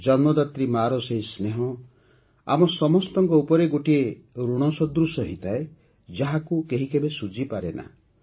ଜନ୍ମଦାତ୍ରୀ ମା'ର ସେହି ସ୍ନେହ ଆମ ସମସ୍ତଙ୍କ ଉପରେ ଗୋଟିଏ ଋଣ ସଦୃଶ ହୋଇଥାଏ ଯାହାକୁ କେହି ଶୁଝିପାରେନା